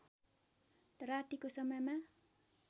रातिको समयमा